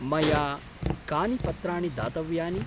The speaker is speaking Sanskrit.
मया कानि पत्राणि दातव्यानि?